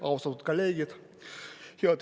Austatud kolleegid!